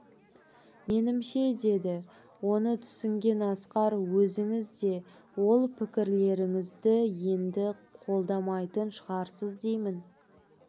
менімше деді оны түсінген асқар өзіңіз де ол пікірлеріңізді енді қолдамайтын шығарсыз деймін